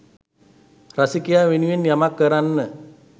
රසිකයා වෙනුවෙන් යමක් කරන්න.